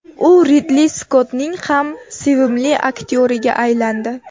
U Ridli Skottning ham sevimli aktyoriga aylandi.